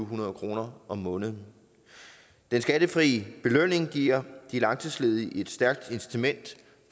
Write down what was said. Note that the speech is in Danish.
hundrede kroner om måneden den skattefrie belønning giver de langtidsledige et stærkt incitament